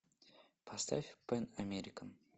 поставь пэн американ